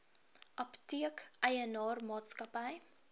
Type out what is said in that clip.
apteek eienaar maatskappy